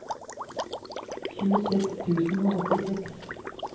tjueseks tusen og åttiseks